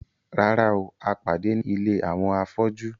Rárá o, a pàdé ní ilé àwọn afọ́jú